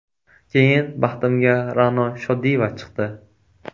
Keyin baxtimga Ra’no Shodiyeva chiqdi.